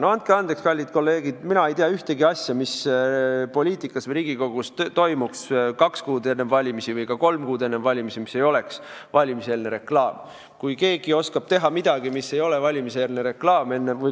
No andke andeks, kallid kolleegid, mina ei tea ühtegi asja, mis poliitikas või Riigikogus toimuks kaks või ka kolm kuud enne valimisi ja mis ei oleks valimiseelne reklaam.